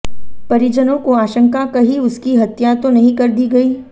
परिजनों को आशंका कही उसकी हत्या तो नहीं कर दी गयी